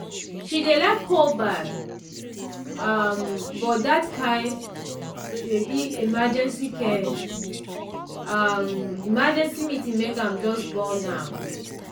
she dey like cold baff um but that kain um emergency um emergency meeting make am just bone am.